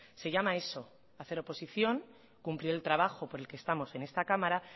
se llama a eso hacer oposición cumplir el trabajo por el que estamos en esta cámara